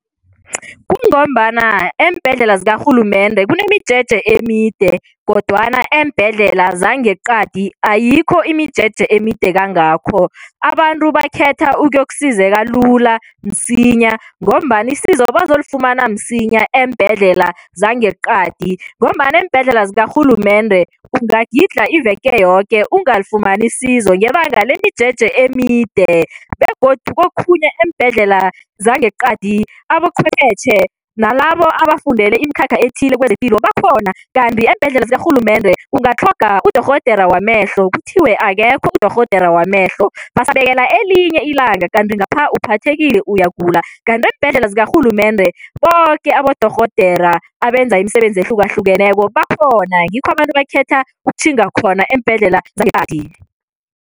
Kungombana eembhedlela zikarhulumende kunemijeje emide kodwana eembhedlela zangeqadi ayikho imijeje emide kangakho. Abantu bakhetha ukuyokusizeka lula, msinya ngombana isizo bazolifumana msinya eembhedlela zangeqadi ngombana eembhedlela zikarhulumende ungagidlha iveke yoke ungalifumani isizo ngebanga lemijeje emide begodu kokhunye eembhedlela zangeqadi aboqhwephetjhe nalabo abafundele imikhakha ethile kwezepilo bakhona kanti eembhedlela zikarhulumende ungatlhoga udorhodera wamehlo, kuthiwe akekho udorhodera wamehlo, basakubekela elinye ilanga kanti ngapha uphathekile, uyagula. Kanti eembhedlela zikarhulumende boke abodorhodera abenza imisebenzi ehlukahlukeneko bakhona, ngikho abantu bakhetha ukutjhinga khona eembhedlela zangeqadi.